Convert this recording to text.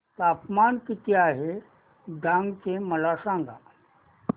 तापमान किती आहे डांग चे मला सांगा